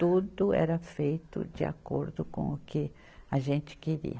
Tudo era feito de acordo com o que a gente queria.